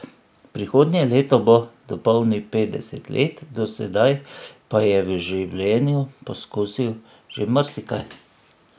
Prihodnje leto bo dopolnil petdeset let, do sedaj pa je v življenju poskusil že marsikaj.